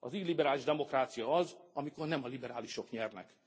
Az illiberális demokrácia az, amikor nem a liberálisok nyernek.